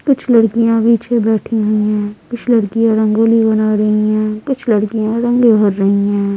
कुछ लड़कियां पीछे बैठी हुए हैं कुछ लड़कियां रंगोली बना रही हैं कुछ लड़कियां रंगे भर रही हैं।